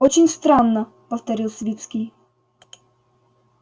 очень странно повторил свицкий